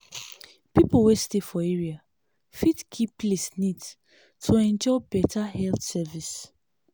people wey stay for area fit keep place neat to enjoy better health service.